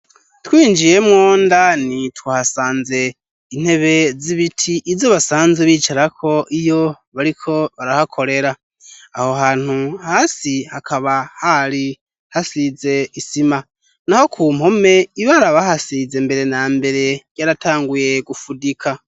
Twinjiyemwo ndani twahasanze intebe z'ibiti izo basanze bicarako iyo bariko barahakorera aho hantu hasi hakaba hari hasize isima naho ku mpome ibara bahasize mbere na mbere yaratanguye gufudika.